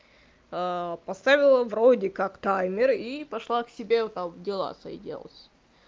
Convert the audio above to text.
поставила вроде как таймер и пошла к себе там дела свои делать